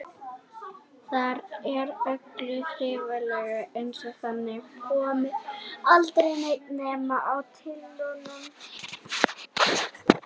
Þar er öllu þrifalegra, eins og þangað komi aldrei neinn nema á tyllidögum.